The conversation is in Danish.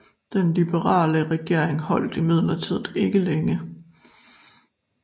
Den liberale regering holdt imidlertid ikke længe